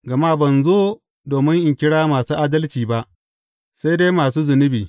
Gama ban zo domin in kira masu adalci ba, sai dai masu zunubi.